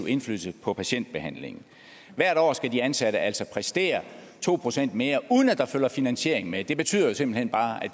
indflydelse på patientbehandlingen hvert år skal de ansatte altså præstere to procent mere uden at der følger finansiering med det betyder simpelt hen bare